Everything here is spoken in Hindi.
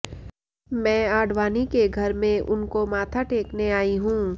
मैं आडवाणी के घर में उनको माथा टेकने आई हूं